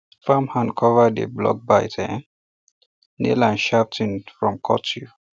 farm hand cover dey block bite um nail and sharp tin from cut you